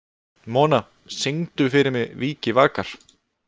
Mona, syngdu fyrir mig „Vikivakar“.